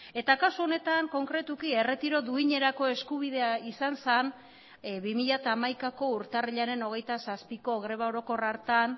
eta kasu honetan konkretuki erretiro duinerako eskubidea izan zen bi mila hamaikako urtarrilaren hogeita zazpiko greba orokor hartan